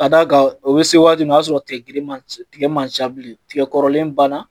Ka d'a kan o bɛ se waati min na o y'a sɔrɔ tigɛ girin man ci tigɛ man ca bilen kɔrɔlen banna